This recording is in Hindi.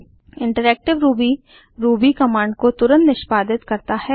इंटरेक्टिव रूबी रूबी कमांड को तुरंत निष्पादित करता है